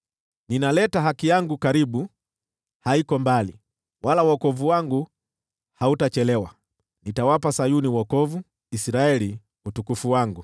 Ninaleta haki yangu karibu, haiko mbali; wala wokovu wangu hautachelewa. Nitawapa Sayuni wokovu, Israeli utukufu wangu.